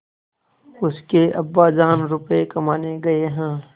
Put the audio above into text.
उसके अब्बाजान रुपये कमाने गए हैं